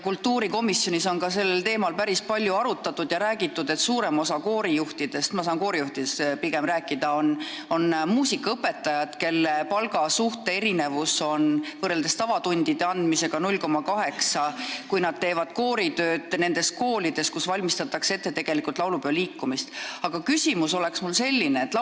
Kultuurikomisjonis on sellel teemal päris palju arutatud ja räägitud, et suurem osa koorijuhtidest – mina saan pigem koorijuhtidest rääkida – on muusikaõpetajad, kelle palgakoefitsient on siis, kui nad teevad kooritööd nendes koolides, kus valmistatakse ette tegelikult laulupeoliikumist, 0,8, tavatunde andes on see 1,0.